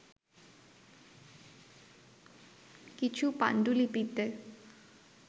কিছু পান্ডুলিপিতে